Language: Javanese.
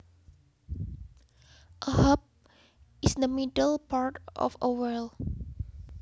A hub is the middle part of a wheel